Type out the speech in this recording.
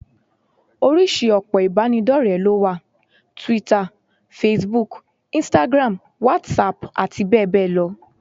Oríṣìí òpó ìbánidọ́rẹ̀ẹ́ ló wà: Twitter, Facebook, instagram, WhatsApp àti bẹ́ẹ̀ bẹ́ẹ̀ lọ